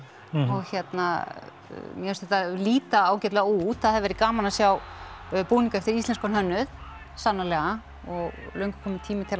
og hérna mér finnst þetta líta ágætlega út það hefði verið gaman að sjá búning eftir íslenskan hönnuð sannarlega og löngu kominn tími til